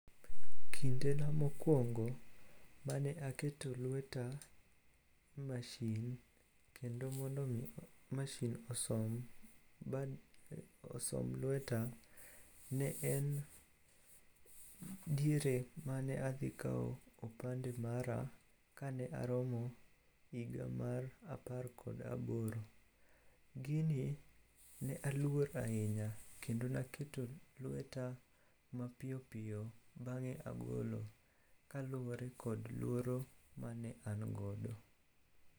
Kindena mokwongo mane aketo lweta e mashin kendo mondo omi mashin osom lweta, ne en diere mane adhi kawo opande mara ka ne aromo higa mar apar kod aboro. Gini ne aluor ahinya kendo ne aketo lweta mapiyo piyo bang'e agolo kaluwore kod luoro mane an godo.